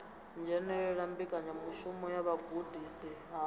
dzhenela mbekanyamushumo ya vhugudisi ha